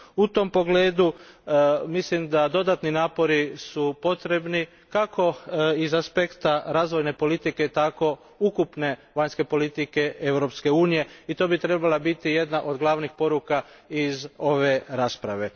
U tom pogledu, mislim da su dodatni napori potrebni kako iz aspekta razvojne politike tako i ukupne vanjske politike Europske unije, i to bi trebala biti jedna od glavnih poruka iz ove rasprave.